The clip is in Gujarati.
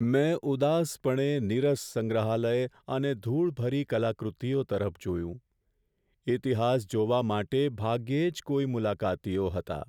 મેં ઉદાસપણે નીરસ સંગ્રહાલય અને ધૂળભરી કલાકૃતિઓ તરફ જોયું. ઈતિહાસ જોવા માટે ભાગ્યે જ કોઈ મુલાકાતીઓ હતા.